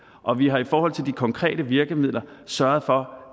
og vi har i forhold til de konkrete virkemidler sørget for